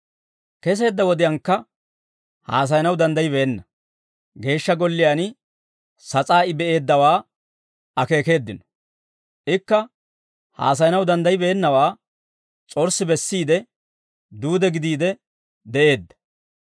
Keseedda wodiyaankka haasayanaw danddaybbeenna; Geeshsha Golliyaan sas'aa I be'eeddawaa akeekeeddino; ikka haasayanaw danddayibeennawaa s'orssi bessiide, duude gidiide de'eedda.